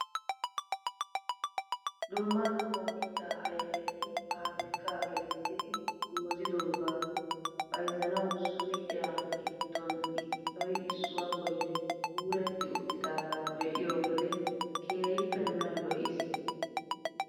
Dumma dumma mittaa ayfeti pabirkkaa gelissidi goozidogaa bayzzanawu suyqiyaa giddon issoy issuwaa bolli kuuretti uttidagaa be'iyoo wode keehippe nuna lo"iis!